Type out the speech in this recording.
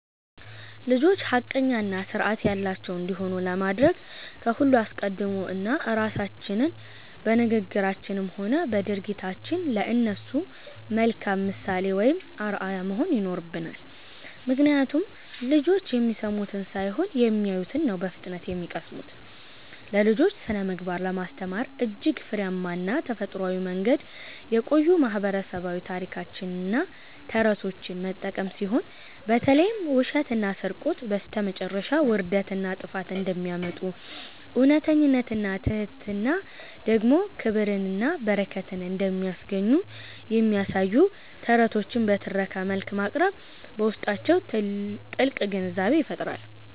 ልጆች ሐቀኛና ሥርዓት ያላቸው እንዲሆኑ ለማድረግ ከሁሉ አስቀድሞ እኛ ራሳችን በንግግራችንም ሆነ በድርጊታችን ለእነሱ መልካም ምሳሌ ወይም አርአያ መሆን ይኖርብናል፤ ምክንያቱም ልጆች የሚሰሙትን ሳይሆን የሚያዩትን ነው በፍጥነት የሚቀስሙት። ለልጆች ስነ-ምግባርን ለማስተማር እጅግ ፍሬያማና ተፈጥሯዊው መንገድ የቆዩ ማህበረሰባዊ ታሪኮችንና ተረቶችን መጠቀም ሲሆን፣ በተለይም ውሸትና ስርቆት በስተመጨረሻ ውርደትንና ጥፋትን እንደሚያመጡ፣ እውነተኝነትና ትሕትና ደግሞ ክብርንና በረከትን እንደሚያስገኙ የሚያሳዩ ተረቶችን በትረካ መልክ ማቅረብ በውስጣቸው ጥልቅ ግንዛቤን ይፈጥራል።